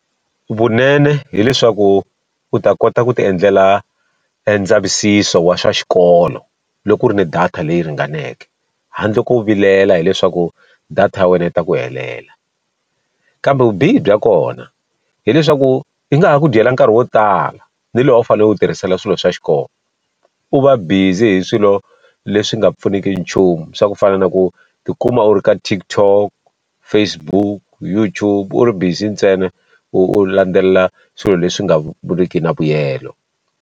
Vunene hileswaku u ta kota ku ti endlela e ndzavisiso wa swa xikolo loko ku ri ni data leyi ringaneke, handle ko vilela hileswaku data ya wena yi ta ku helela. Kambe vubihi bya kona hileswaku yi nga ha ku dyela nkarhi wo tala ni lowu wu fanele u wu tirhisela swilo swa xikolo. U va busy hi swilo leswi nga pfuniki nchumu swa ku fana na ku ti kuma u ri ka TikTok, Facebook, YouTube, u ri busy ntsena u u landzelela swilo leswi nga ri ki na vuyelo.